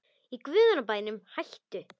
Í guðanna bænum hættu